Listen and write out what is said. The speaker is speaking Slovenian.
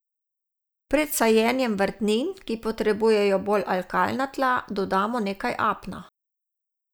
Pred sajenjem vrtnin, ki potrebujejo bolj alkalna tla, dodamo nekaj apna.